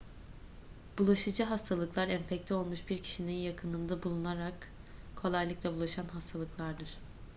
bulaşıcı hastalıklar enfekte olmuş bir kişinin yakınında bulunularak kolaylıkla bulaşan hastalıklardır